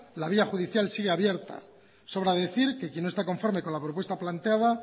la vía judicial sigue abierta sobra decir que quién no esté conforme con la propuesta planteada